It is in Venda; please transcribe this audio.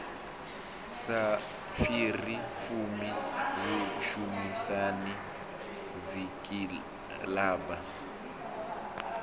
sa fhiri fumi vhushumisani dzikilabu